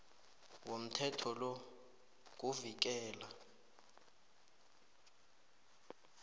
womthetho lo kuvikela